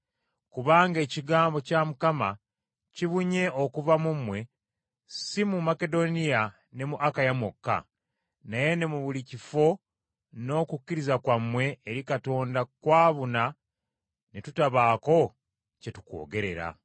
Kubanga ekigambo kya Mukama kibunye okuva mu mmwe, si mu Makedoniya ne mu Akaya mwokka, naye ne mu buli kifo n’okukkiriza kwammwe eri Katonda kwabuna ne tutabaako kye tukwogerera.